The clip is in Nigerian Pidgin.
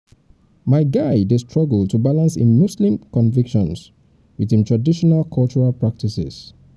my guy dey struggle um to balance im im muslim convictions um wit im traditional cultural practices.